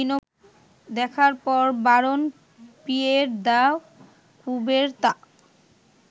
দেখার পর Baron Pierre de Coubertin